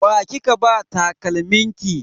Wa kika ba takalmin ki?